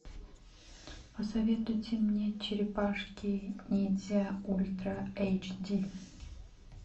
посоветуйте мне черепашки ниндзя ультра эйч ди